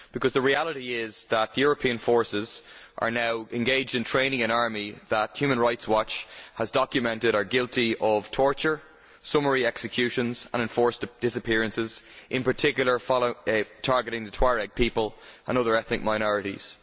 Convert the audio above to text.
Because the reality is that the European forces are now engaged in training an army that Human Rights Watch has documented as being guilty of torture, summary executions and enforced disappearances, in particular targeting the Tuareg people and other ethnic minorities.